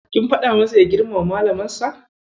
Kin faɗa masa ya girmama Malamansa?